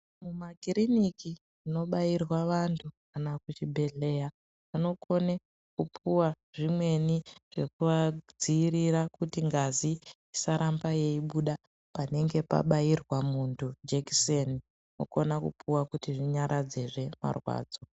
Mu makiriniki muno bairwa vantu kana ku chibhedhleya anokone kupuwa zvimweni zvekua dzivirira kuti ngazi isaramba yei buda panenge pa bairwa muntu jekiseni unokona kupuwa kuti zvinyaradze zve marwadzo.